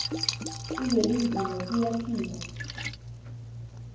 uzwelinzima tuya phila